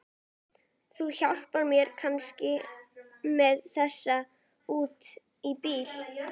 Þú hjálpar mér kannski með þessa út í bíl?